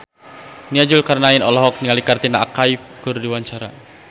Nia Zulkarnaen olohok ningali Katrina Kaif keur diwawancara